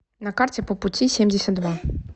на карте по пути семьдесят два